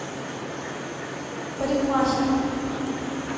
парикмахер